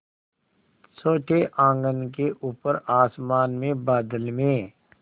छोटे आँगन के ऊपर आसमान में बादल में